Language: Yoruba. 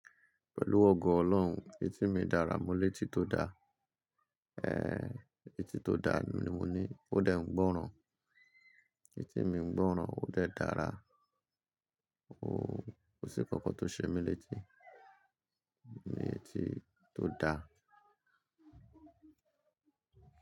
Pẹ̀lú ogo Ọlọ́run, etí mi dára, mo létí tó da, ẹ́ ẹ́ ẹ́, etí tó da ni mo ní, ó dẹ̀ ń gbọ́ràn. Etí mi ń gbọ́ràn, ó dẹ̀ dára, o kò sí ǹkankan tó ṣe mí létí mo letí tó da.